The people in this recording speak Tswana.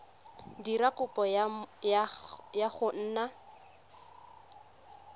dira kopo ya go nna